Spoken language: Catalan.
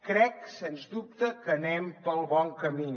crec sens dubte que anem pel bon camí